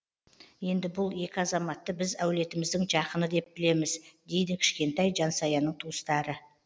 енді бұл екі азаматты біз әулетіміздің жақыны деп білеміз дейді кішкентай жансаяның туыстары